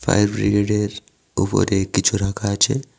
Fire ব্রিগেডের উপরে কিছু রাখা আছে।